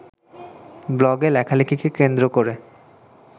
ব্লগে লেখালেখিকে কেন্দ্র করে